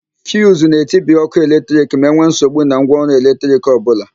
Fiuzu na-etibi ókụ́ eletrik ma enwe nsogbu na ngwaọrụ eletrik ọbụla.